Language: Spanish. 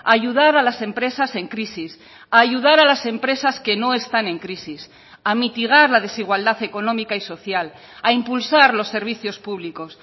a ayudar a las empresas en crisis a ayudar a las empresas que no están en crisis a mitigar la desigualdad económica y social a impulsar los servicios públicos